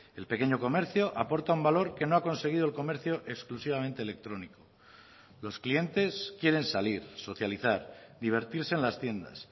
el pequeño comercio aporta un valor que no ha conseguido el comercio exclusivamente electrónico los clientes quieren salir socializar divertirse en las tiendas